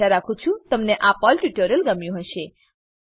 આશા રાખું છું કે તમને આ પર્લ ટ્યુટોરીયલ ગમ્યું હશે